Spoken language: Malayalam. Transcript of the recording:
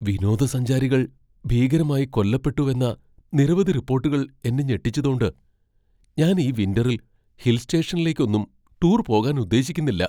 വിനോദസഞ്ചാരികൾ ഭീകരമായി കൊല്ലപ്പെട്ടുവെന്ന നിരവധി റിപ്പോട്ടുകൾ എന്നെ ഞെട്ടിച്ചതോണ്ട് ഞാൻ ഈ വിൻ്ററിൽ ഹിൽ സ്റ്റേഷനിലേക്കൊന്നും ടൂർ പോകാൻ ഉദ്ദേശിക്കുന്നില്ല .